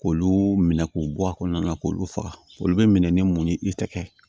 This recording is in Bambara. K'olu minɛ k'u bɔ a kɔnɔna na k'olu faga olu bɛ minɛ ni mun ye i tɛgɛ